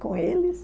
Com eles.